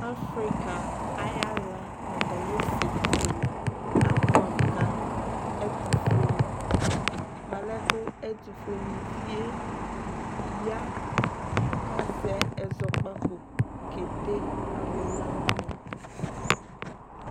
Afrika ayi ala no atami ɛsɛ kele aboɛ amo ka ɛtofueni mo alɛ ko ɛtofueni vie ya ko azɛ ɛzɔkpako ke de alo la wani